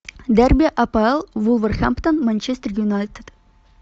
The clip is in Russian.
дерби апл вулверхэмптон манчестер юнайтед